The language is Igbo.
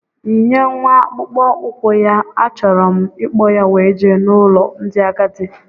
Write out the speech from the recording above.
Yinye nwa akpụkpọ ukwu ya, a chọrọ m ikpo ya wee jee n' ụlọ ndị agadi!!!